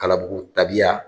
Kalabugu tabiya